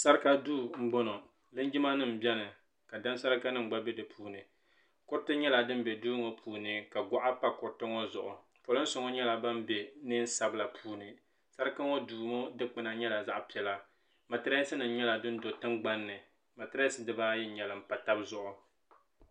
sarika duu m-bɔŋɔ linjimanima beni ka daŋsarika nima gba be di puuni kuriti nyɛla din be duu ŋɔ puuni ka gɔɣa pa kuriti ŋɔ zuɣu pirinsi ŋɔ nyɛla ban be neen' sabila puuni sarika ŋɔ duu ŋɔ dukpuna nyɛla zaɣ' piɛla matiresi nima nyɛla din do tiŋgbani matiresi dibaa ayi n-nyɛli m- pa taba zuɣu.